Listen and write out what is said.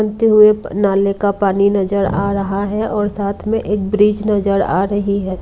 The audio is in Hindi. नाले का पानी नज़र आ रहा है और साथ मे एक ब्रिज नज़र आ रही है।